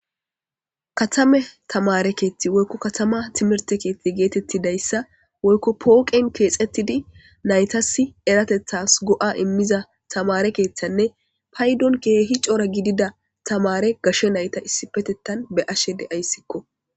katame tamare keethti woykko katama timerte keethti geetettidayssa woykko pooqen keexettidi naytasi eratethas go'a immiza tamare keeththanne paydon keehi cora gidida tamare gashshe nayta issipetettan be'ashe de'ayssikko